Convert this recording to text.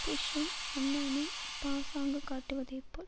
புஷ்சும் அன்னானும் பாசாங்குகாட்டுவதைப் போல்